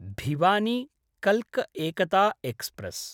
भिवानी–कल्क Ekta express